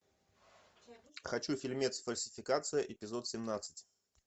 хочу фильмец фальсификация эпизод семнадцать